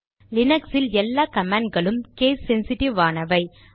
லீனக்ஸில் எல்லா கமாண்ட் களும் case sensitive ஆனாவை